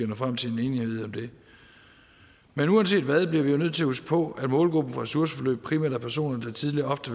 nå frem til en enighed om det men uanset hvad bliver vi nødt til at huske på at målgruppen for ressourceforløb primært er personer der tidligere ofte